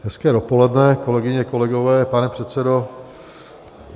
Hezké dopoledne, kolegyně, kolegové, pane předsedo.